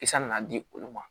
Kisɛ nana di olu ma